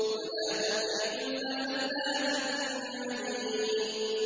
وَلَا تُطِعْ كُلَّ حَلَّافٍ مَّهِينٍ